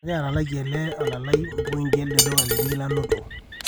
kaidim ake atalakie ele ola lai pointi ele duka linyi nanoto